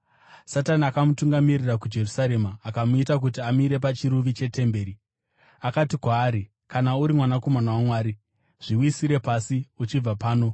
Satani akamutungamirira kuJerusarema akamuita kuti amire pachiruvi chetemberi. Akati kwaari, “Kana uri mwanakomana waMwari, zviwisire pasi uchibva pano.